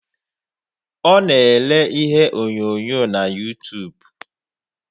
Ọ na ele ihe onyonyo na yutub